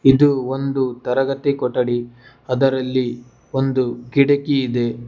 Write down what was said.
ಇದು ಒಂದು ತರಗತಿ ಕೊಠಡಿ ಅದರಲ್ಲಿ ಒಂದು ಕಿಟಕಿ ಇದೆ.